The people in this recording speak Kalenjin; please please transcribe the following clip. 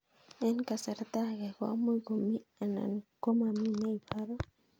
Eng' kasarta ag'e ko much ko mii anan komamii ne ibaru